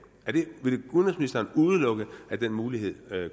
vil udenrigsministeren udelukke at den mulighed